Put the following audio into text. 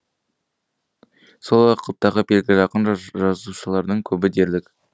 сол уақыттағы белгілі ақын жазушылардың көбі дерлік